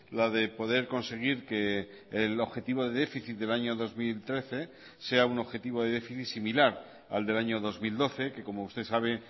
la de poder conseguir que el objetivo de déficit del año dos mil trece sea un objetivo de déficit similar al del año dos mil doce que como usted sabe